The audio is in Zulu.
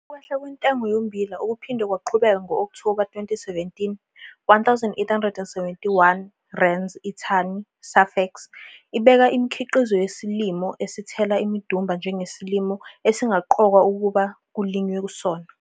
Ukwehla kwentengo yommbila okuphinde kwaqhubeka ngo-Okthoba 2017, R1 871 thani - Safex, ibeka imikhiqizo yesilimo esithela imidumba njengesilimo esingaqokwa ukuba kulinywe sona.